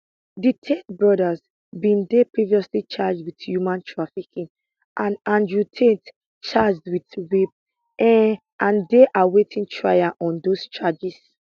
di tate brothers bin dey previously charged wit human trafficking and andrew tate charged wit rape um and dey awaiting trial on dose charges